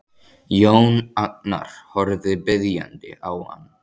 Jón Agnar horfir biðjandi á hann.